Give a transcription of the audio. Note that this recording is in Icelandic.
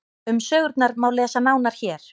um sögurnar má lesa nánar hér